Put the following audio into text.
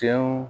Tiɲɛw